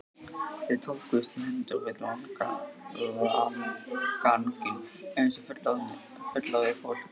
Þau tókust í hendur við landganginn eins og fullorðið fólk.